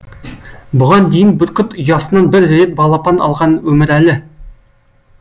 бұған дейін бүркіт ұясынан бір рет балапан алған өмірәлі